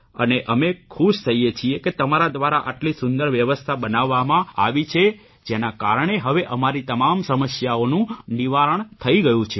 અને અમે ખુશ થઇએ છીએ કે તમારા દ્વારા આટલી સુંદર વ્યવસ્થા બનાવવામાં આવી છે જેના કારણે હવે અમારી તમામ સમસ્યાઓનું નિવારણ થઇ ગયું છે